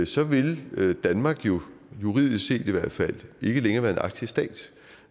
så vil vil danmark jo i juridisk set ikke længere være en arktisk stat